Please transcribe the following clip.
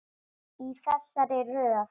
Í þessari röð.